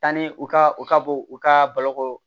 Tanni u ka u ka bɔ u ka balo